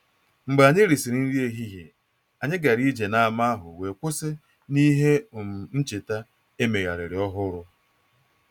Mgbe anyị risịrị nri ehihie, anyị gara ije n’ámá ahụ wee kwụsị n’ihe um ncheta e megharịrị ọhụrụ